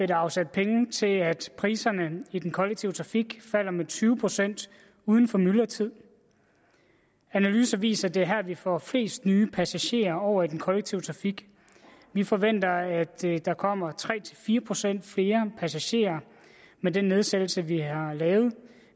der afsat penge til at priserne i den kollektive trafik falder med tyve procent uden for myldretid analyser viser at det er her vi får flest nye passagerer over i den kollektive trafik vi forventer at der kommer tre fire procent flere passagerer med den nedsættelse vi har lavet